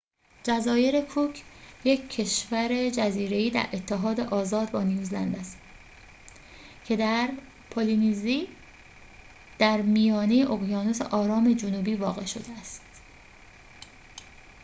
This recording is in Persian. جزایر کوک یک کشور جزیره‌ای در اتحاد آزاد با نیوزلند است که در پولینزی در میانه اقیانوس آرام جنوبی واقع شده است